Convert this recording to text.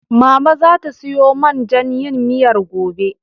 Mama zata siyo man jan yin miyar gobe.